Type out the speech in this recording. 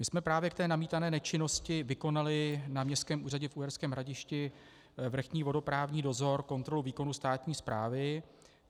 My jsme právě k té namítané nečinnosti vykonali na Městském úřadě v Uherském Hradišti vrchní vodoprávní dozor, kontrolu výkonu státní správy.